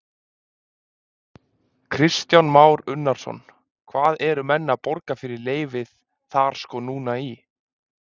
Kristján Már Unnarsson: Hvað eru menn að borga fyrir leyfið þar sko núna í?